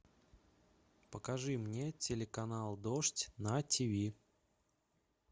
покажи мне телеканал дождь на тиви